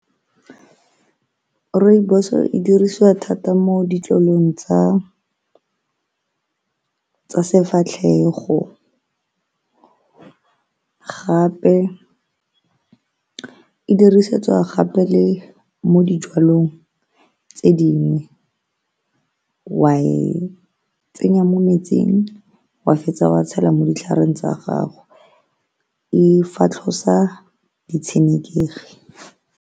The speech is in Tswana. Rooibos e dirisiwa thata mo ditlolong tsa sefatlhego gape e dirisetswa gape le mo dijalong tse dingwe wa e tsenya mo metsing wa fetsa wa tshela mo ditlhareng tsa gago, e fatlhosa di tshenekegi.